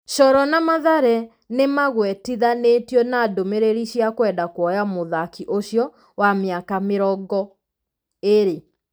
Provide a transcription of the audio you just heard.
Coro na Mathare nĩmagwetithanĩtio na ndũmĩrĩri cia kwenda kuoya mũthaki ũcio, wa mĩaka mĩrongo ĩrĩ.